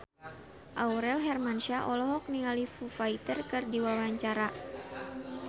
Aurel Hermansyah olohok ningali Foo Fighter keur diwawancara